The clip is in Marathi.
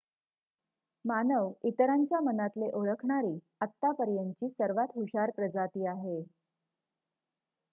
मानव इतरांच्या मनातले ओळखणारी आतापर्यंतची सर्वात हुशार प्रजाती आहे